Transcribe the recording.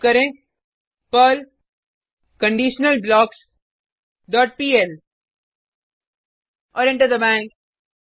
type करें Perl conditional blocks dot PL और enter दबाएँ